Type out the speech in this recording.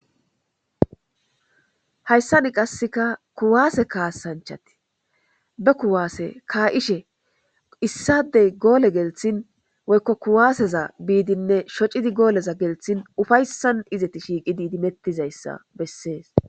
Hayssan qasikka kuwase kaasanchati ba kuwaase ka'ishe issade goole gelisin woykko kuwaaseza biidinne shoccidi goole gelsin ufayssan izati shiiqidi idimetidayssa besees.